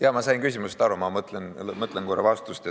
Jaa, ma sain küsimusest aru, ma mõtlen vastust.